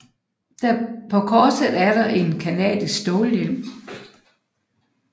På korset er der en canadisk stålhjelm